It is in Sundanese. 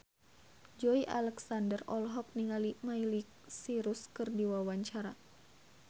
Joey Alexander olohok ningali Miley Cyrus keur diwawancara